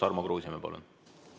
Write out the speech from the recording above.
Tarmo Kruusimäe, palun!